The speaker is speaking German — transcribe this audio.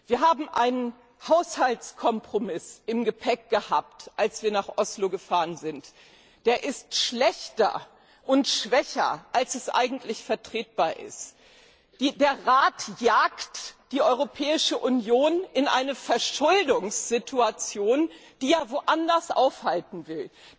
Wir haben einen Haushaltskompromiss im Gepäck gehabt, als wir nach Oslo gefahren sind, der schlechter und schwächer ist, als eigentlich vertretbar wäre. Der Rat jagt die Europäische Union in eine Verschuldungssituation, die er anderswo aufhalten will.